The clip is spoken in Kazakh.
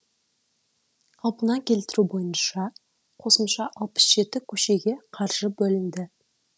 қалпына келтіру бойынша қосымша алпыс жеті көшеге қаржы бөлінді